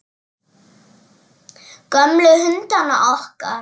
Gömlu hundana okkar.